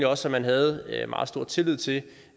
også at man havde meget stor tillid til